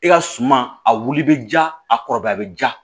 I ka suma a wuli bɛ ja a kɔrɔbaya a bɛ ja